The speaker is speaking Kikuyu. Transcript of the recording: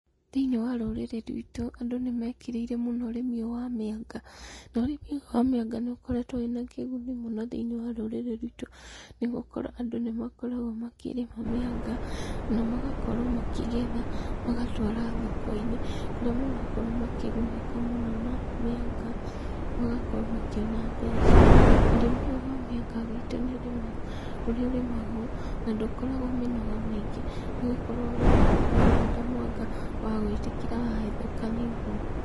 Thĩiniĩ wa rũrĩrĩ ruitũ, andũ nĩmekĩrĩire mũno ũrĩmi ũyũ wa mĩanga, na ũrĩmi ũyũ wa mĩanga nĩũkoretwo wĩna kĩguni mũno thĩniĩ wa rũrĩrĩ ruitũ nĩgũkorwo andũ nĩmakoragwo makĩrĩma mĩanga, namagakorwo makĩgetha, magatwara thoko-inĩ, kũrĩa magakorwo makĩgunĩka mũno na mĩanga, magakorwo makĩona mbeca. Ũrĩmi ũyũ wa mĩanga guitũ nĩũrĩmagwo, na ndũkoragwo mĩnoga mĩingĩ, nĩgũkorwo wahanda mwanga, wagwĩtĩkĩra wahethũka nĩũguo.